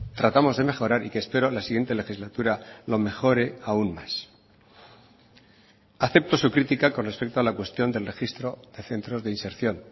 tratamos de mejorar y que espero la siguiente legislatura lo mejore aún más acepto su crítica con respecto a la cuestión del registro de centros de inserción